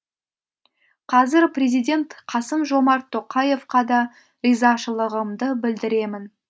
қазір президент қасым жомарт тоқаевқа да ризашылығымды білдіремін